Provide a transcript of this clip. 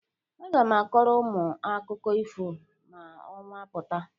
Aga m akọrọ unu akụkọ ifo ma ọnwa pụta.